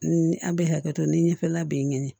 Ni a bɛ hakɛto ni ɲɛfɛla bɛ nɛni